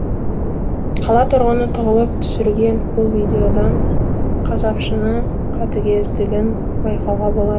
қала тұрғыны тығылып түсірген бұл видеодан қасапшының қатігездігін байқауға болады